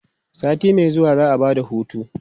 sati Mai zuwa za'a Bada hutu